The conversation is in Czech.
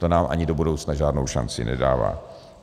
To nám ani do budoucna žádnou šanci nedává.